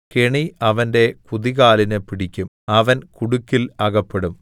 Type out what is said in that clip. കെണി അവന്റെ കുതികാലിന് പിടിക്കും അവൻ കുടുക്കിൽ അകപ്പെടും